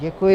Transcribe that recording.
Děkuji.